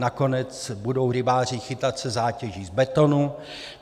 Nakonec budou rybáři chytat se zátěží z betonu.